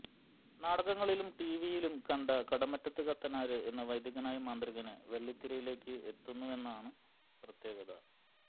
നാടകങ്ങളിലും ടിവിയിലും കണ്ട കടമറ്റത്ത് കത്തനാര് എന്ന വൈദികനായ മാന്ത്രികന് വെള്ളിത്തിരയിലേക്ക് എത്തുന്നുവെന്നതാണ് പ്രത്യേകത